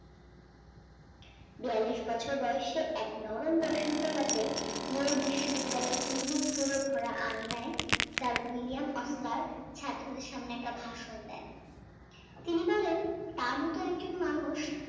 বিয়ালিশ বছর বয়সে এক নরম বসন্ত রাতে ইয়ুথ বিশ্ববিদ্যালয় ভরা আঙিনায় স্যার উইলিয়াম ওসলার ছাত্রদের সামনে একটা ভাষণ দেন তিনি বলেন তার মত একজন মানুষ